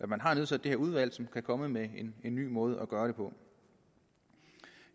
man har nedsat det her udvalg som skal komme med en ny måde at gøre det på